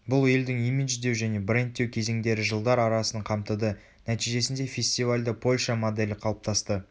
бұл елдің имидждеу және брендтеу кезеңдері жылдар арасын қамтыды нәтижесінде фестивальді польша моделі қалыптасты